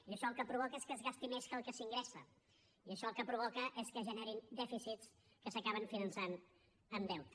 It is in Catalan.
i això el que provoca és que es gasti més que el que s’ingressa i això el que provoca és que es generin dèficits que s’acaben finançant amb deute